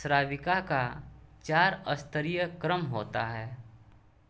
श्राविका का चार स्तरीय क्रम होता है